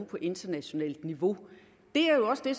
på internationalt niveau det er jo også det